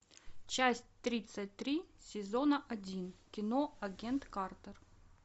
часть тридцать три сезона один кино агент картер